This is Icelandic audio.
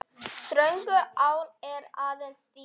Þröngur áll er aðeins þíður.